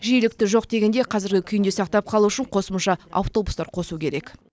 жиілікті жоқ дегенде қазіргі күйінде сақтап қалу үшін қосымша автобустар қосу керек